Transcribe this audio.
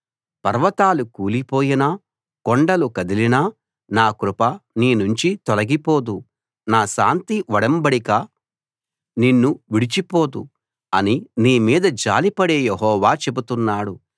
పర్వతాలు కూలిపోయినా కొండలు కదిలినా నా కృప నీనుంచి తొలగిపోదు నా శాంతి ఒడంబడిక నిన్ను విడిచిపోదు అని నీ మీద జాలిపడే యెహోవా చెబుతున్నాడు